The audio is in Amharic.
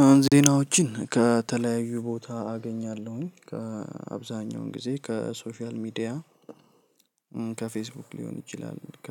አሁን ዜናዎችን ከተለያዩ ቦታ አገኛለሁኝ፣ ከአብዛኛውን ጊዜ ከሶሻል ሚዲያ ከፌስቡክ ሊሆን ይችላል፣ ከ